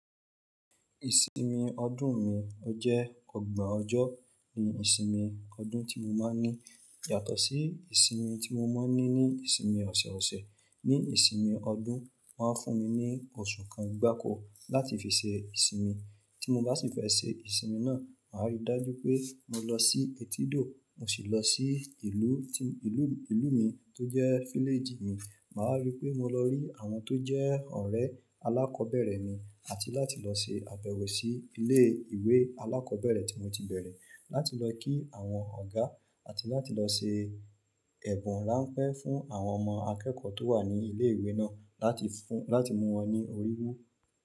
Ìsinmi ọdún mi, ọ jẹ́ ọgbọ́n ọjọ́ ni ìsinmi ọdún tí mo máa ń ní yàtọ̀ sí ìsinmi tí mo máa ń ní ní ìsinmi ọ̀ṣẹ̀ ọ̀ṣẹ̀. Ní ìsinmi ọdún, wọ́n a fún mi ní oṣù kan gbákọ́ láti fi ṣe ìsinmi. Tí mo bá sì fẹ́ ṣe ìsinmi náà, màá rí dájú pé mo lọ sí ètídò, mo sì lọ sí ìlú tí ìlú, ìlú mi tó jẹ́ fíléjì mi. Màá wa rí wipé mo lọ rí àwọn tó jẹ́ ọ̀rẹ́ alákọ̀ọ́bẹ̀rẹ̀ mi àti láti lọ se àbẹ̀wọ̀ sí ilé ìwé alákọ̀ọ́bẹ̀rẹ̀ tí mo ti bẹ̀rẹ̀, láti lọ kí àwọn ọ̀gá àti láti lọ se ẹ̀bùn ránpẹ́ fún àwọn ọmọ akẹ́kọ̀ọ́ tó wà ní ilé ìwé náà láti fún, láti mú wọn ní oríwú.